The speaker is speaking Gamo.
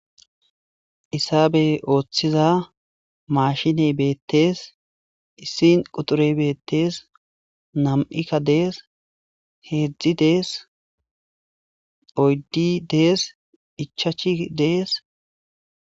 Hisabey ooththiza mashiney beettees issin quturey beettees nam7ikka dees heedzdzi dees oyddi dees ichachi dees